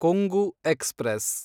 Kongu express